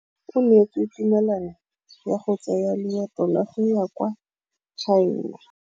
O neetswe tumalanô ya go tsaya loetô la go ya kwa China.